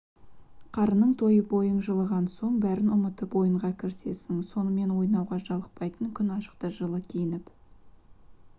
қарының тойып бойың жылынған соң бәрін ұмытып ойынға кірісесің сонымен ойнауға жалықпайтын күн ашықта жылы киініп